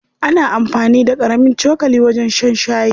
Ana amfani da ƙarami cokali wajen shan shayi.